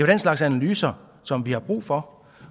den slags analyser som vi har brug for